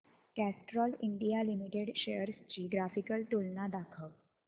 Castrol India limited shares ची graphical तुलना दाखव